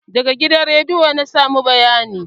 Daga gidan rediyo na samo bayanin